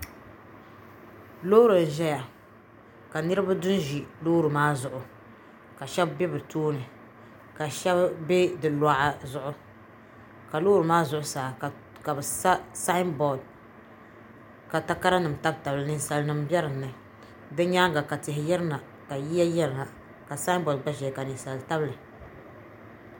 lori n ʒɛya ka niriba du n ʒɛ lori maa zuɣ' ka shɛbi bɛ be tuuni ka shɛbi bɛ di luga zuɣ ka lori maa zuɣ saa kabi sa saabɔri ka takarinim tabitabili ka nisalinim bɛ dini di nyɛŋa ka tihi yɛrina yiya yɛrina ka saabɔri gba ʒɛya ka ninsalinim tabitabli